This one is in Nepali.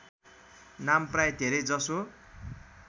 नाम प्राय धेरैजसो